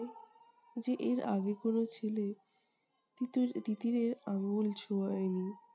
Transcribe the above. যে এর আগে কোনো ছেলে তিতির~ তিতিরের আঙ্গুল ছোঁয়ায়নি